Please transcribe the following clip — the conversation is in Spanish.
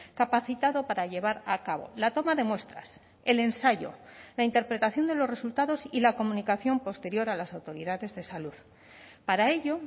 capacitado para llevar a cabo la toma de muestras el ensayo la interpretación de los resultados y la comunicación posterior a las autoridades de salud para ello